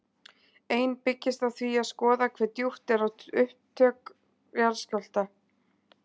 Ein byggist á því að skoða hve djúpt er á upptök jarðskjálfta.